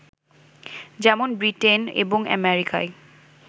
যেমন ব্রিটেন এবং আমেরিকায়